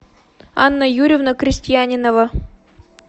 анна юрьевна крестьянинова